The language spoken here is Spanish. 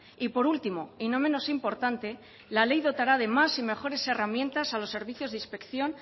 y por último y no menos importante la ley dotará de más y mejores herramientas a los servicios de inspección